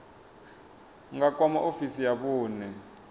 nga kwama ofisi ya vhune